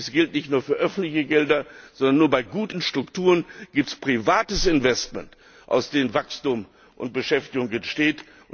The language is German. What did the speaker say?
Dies gilt nicht nur für öffentliche Gelder, sondern nur bei guten Strukturen gibt es private Investitionen, aus denen Wachstum und Beschäftigung entstehen.